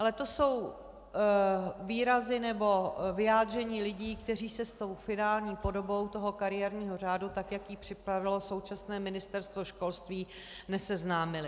Ale to jsou výrazy nebo vyjádření lidí, kteří se s tou finální podobou toho kariérního řádu, tak jak ji připravilo současné Ministerstvo školství, neseznámili.